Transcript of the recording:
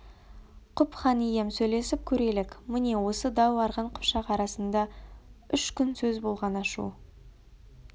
құп хан ием сөйлесіп көрелік міне осы дау арғын қыпшақ арасында үш күн сөз болған ашу